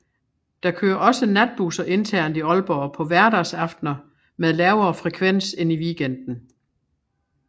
Der kører også natbusser internt i Aalborg på hverdagsaftener med lavere frekvens end i weekenden